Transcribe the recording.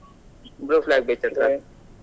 Blue flag beach ಹತ್ರವೇ.